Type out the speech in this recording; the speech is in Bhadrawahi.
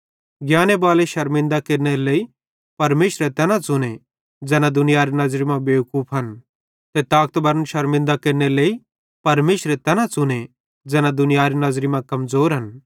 ज्ञाने बालन शरमिन्दा केरनेरे लेइ परमेशरे तैना च़ुने ज़ैना दुनियारे नज़री मां बेवकूफन ते ताकतबरन शरमिन्दा केरनेरे लेइ परमेशरे तैना च़ुने ज़ैना दुनियारे नज़री मां कमज़ोरन